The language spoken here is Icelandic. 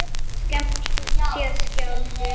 skammta sér sjálfir